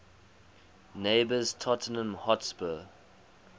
neighbours tottenham hotspur